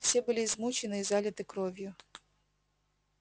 все были измучены и залиты кровью